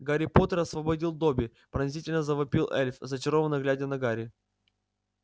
гарри поттер освободил добби пронзительно завопил эльф зачарованно глядя на гарри